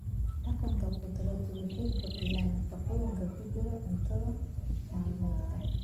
Dhaqanka khudradu waxay kordhiyaan nafaqooyinka ku jira cunto maalmeedka.